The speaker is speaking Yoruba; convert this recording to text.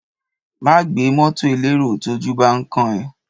Má gbé mọ́tọ̀ elérò tójú bán kán ẹ.